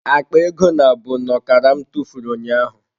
Akpa ego nabụ n'okara m tụfuru ụnyaahụ.